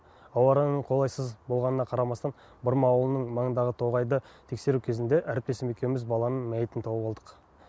ауа райының қолайсыз болғанына қарамастан бұрма ауылының маңындағы тоғайды тексеру кезінде әріптесім екеуміз баланың мәйітін тауып алдық